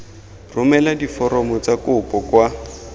romela diforomo tsa kopo kwa